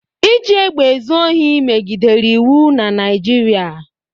Iji egbe ezu ohi megidere iwu na Naịjirịa.